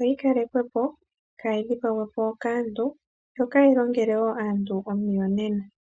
oyi kalekwe po kaayidhipagwepo kaantu yo ka yi longele wo aantu omiyonena.